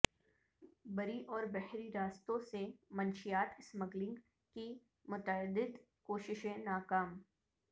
بری اور بحری راستوں سے منشیات سمگلنگ کی متعدد کوششیں ناکام